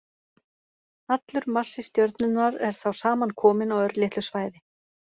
Allur massi stjörnunnar er þá samankominn á örlitlu svæði.